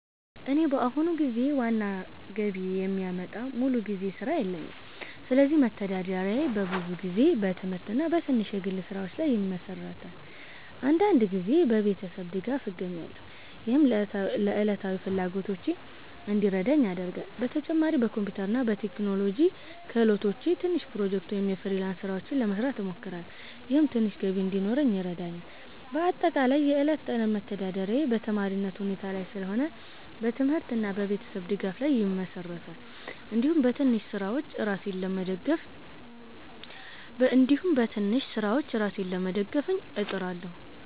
እኔ በአሁኑ ጊዜ ዋና ገቢ የሚያመጣ ሙሉ ጊዜ ሥራ የለኝም፣ ስለዚህ መተዳደሪያዬ በብዙ ጊዜ በትምህርት እና በትንሽ የግል ስራዎች ላይ ይመሠራል። አንዳንድ ጊዜ በቤተሰብ ድጋፍ እገኛለሁ፣ ይህም ለዕለታዊ ፍላጎቶቼ እንዲረዳኝ ያደርጋል። በተጨማሪም በኮምፒውተር እና በቴክኖሎጂ ክህሎቶቼ ትንሽ ፕሮጀክቶች ወይም የፍሪላንስ ስራዎች ለመስራት እሞክራለሁ፣ ይህም ትንሽ ገቢ እንዲኖረኝ ይረዳኛል። በአጠቃላይ የዕለት ተዕለት መተዳደሪያዬ በተማሪነት ሁኔታ ላይ ስለሆነ በትምህርት እና በቤተሰብ ድጋፍ ላይ ይመሠራል፣ እንዲሁም በትንሽ ስራዎች ራሴን ለመደገፍ እጥራለሁ።